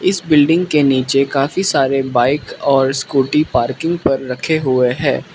इस बिल्डिंग के नीचे काफी सारे बाइक और स्कूटी पार्किंग रखे हुए है।